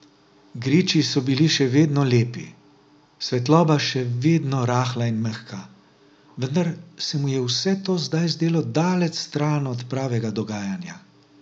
Griči so bili še vedno lepi, svetloba še vedno rahla in mehka, vendar se mu je vse to zdaj zdelo daleč stran od pravega dogajanja.